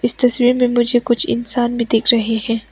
इस तस्वीर में मुझे कुछ इंसान भी दिख रहे हैं।